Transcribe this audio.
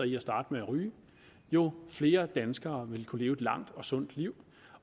i at starte med at ryge jo flere danskere vil kunne leve et langt og sundt liv